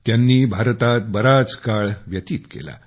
त्यांनी भारतात बराच काळ व्यतीत केला